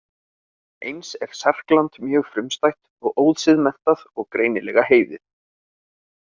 Eins er Serkland mjög frumstætt og ósiðmenntað og greinilega heiðið.